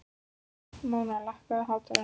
Móna, lækkaðu í hátalaranum.